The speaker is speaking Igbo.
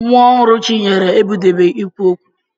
Nwa ọhụrụ Chinyere ebidobeghi ikwu okwu.